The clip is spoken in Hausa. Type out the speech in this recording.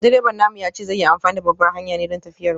Direban namu ya ce zai yi amfani da babbar hanyar ne don tafiyar mu.